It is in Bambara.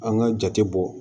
An ka jate bɔ